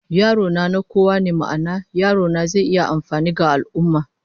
Yaro na, na kowa ne, ma'ana, yarona zai iya amfani ga al'ummah